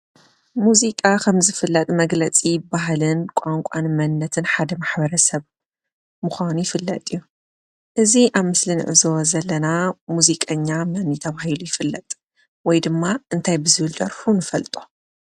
ሙዚቃ ኸም ዝፍለጥ መግለፂ ባህልን ቋንቋን መንነትን ሓደ ማሕበረሰብ ምኳኑ ይፍለጥ እዩ፡፡ እዚ አብ ምስሊ እንዕዘቦ ዘለና ሙዚቀኛ መን ተባሂሉ ይፍለጥ? ወይ ድማ እንታይ ብዝብል ደርፉ ንፈልጦ?